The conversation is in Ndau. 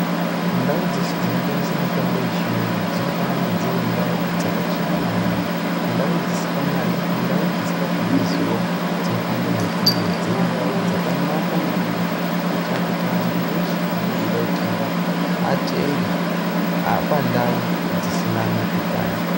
Ndau dzeshe dzinotengese mitombo yechiyungu, dzinofana kunge dziri ndau dzakachena maningi, ndau dzisikanai, ndau dzisingapindi zuva dzinofanira he kunge dziri ndau dzakanaka maningi kuitira kuti anhu eshe anenge eida kutenga atenge apandau dzisina mukuhlani.